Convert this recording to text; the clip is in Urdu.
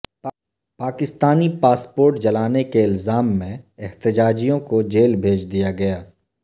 پاکستانی پاسپورٹ جلانے کے الازام میں احتجاجیوں کو جیل بھیج دیا گیا